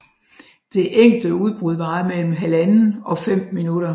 Det enkelte udbrud varer mellem 1½ og 5 minutter